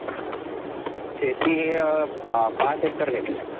शेती अ पाच एकर घेतलीये.